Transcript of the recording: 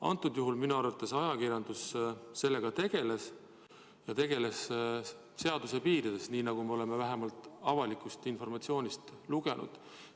Antud juhul minu arvates ajakirjandus sellega tegeles, ja tegeles seaduse piirides, nii nagu me oleme vähemalt avalikust meediast lugenud.